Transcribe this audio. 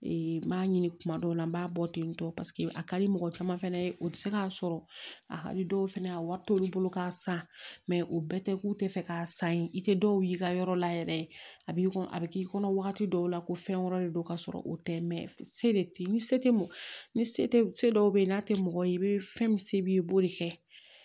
n m'a ɲini kuma dɔw la n b'a bɔ tentɔ paseke a ka di mɔgɔ caman fɛnɛ ye o ti se ka sɔrɔ a ka di dɔw fana a wari t'olu bolo k'a san mɛ o bɛɛ tɛ k'u tɛ fɛ k'a san ye i tɛ dɔw ye ka yɔrɔ la yɛrɛ a b'i a bɛ k'i kɔnɔ wagati dɔw la ko fɛn wɛrɛ de don ka sɔrɔ o tɛ ni se tɛ ni se dɔw bɛ yen n'a tɛ mɔgɔ ye fɛn min se b'i ye i b'o de kɛ